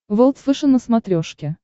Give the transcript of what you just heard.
волд фэшен на смотрешке